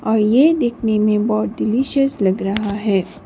और यह देखने में बहुत डिलीशियस लग रहा है।